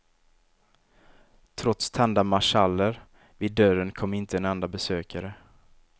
Trots tända marschaller vid dörren kom inte en enda besökare.